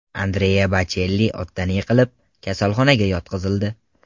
Andrea Bochelli otdan yiqilib, kasalxonaga yotqizildi.